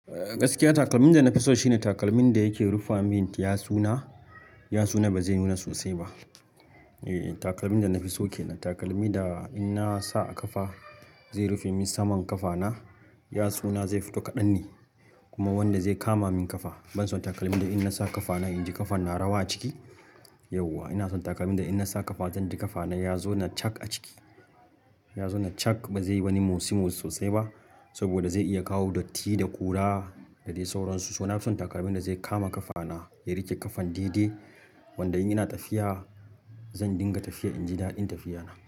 Gaskiya takalmin da na fi so shine takalmin da yake rufa min yatsuna, yatsuna ba zai nuna sosai ba. E, takalmin da na fi so kenan. Takalmin da in na sa a kafa zai rufe min saman kafana, yatsuna zai fito kaɗan ne kuma wanda zai kama min ƙafa. Ban son takalmin da in na sa kafana inji kafan na rawa a ciki. Yauwa ina son takalmin da in na sa kafa zan ji kafana ya zo na cak a ciki. Ya zauna cak ba zai yi wani motsi-motsi sosai ba saboda zai iya kawo datti da kura da dai sauransu. So nafi son takalmin da zai kama ƙafana ya riƙe ƙafan dai dai wanda in ina tafiya zan dinga tafiya in ji daɗin tafiya na.